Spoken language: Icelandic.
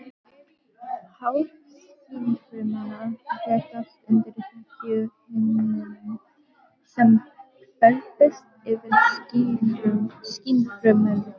Hár skynfrumanna rekast undir þekjuhimnuna sem hvelfist yfir skynfrumurnar.